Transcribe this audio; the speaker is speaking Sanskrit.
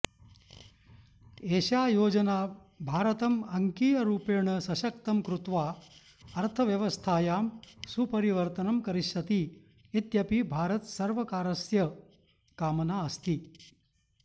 एषा योजना भारतम् अङ्कीयरूपेण सशक्तं कृत्वा अर्थव्यवस्थायां सुपरिवर्तनं करिष्यति इत्यपि भारतसर्वकारस्य कामना अस्ति